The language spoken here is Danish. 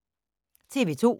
TV 2